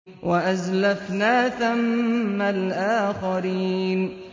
وَأَزْلَفْنَا ثَمَّ الْآخَرِينَ